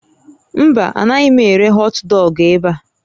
Mba, anaghị m ere họtdọọgụ ebe a